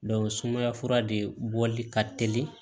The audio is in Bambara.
sumaya fura de bɔli ka telin